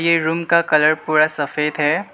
ये रूम का कलर पूरा सफेद है।